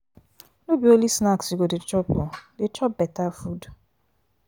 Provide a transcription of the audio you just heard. no be only snacks you go dey chop o dey chop beta food.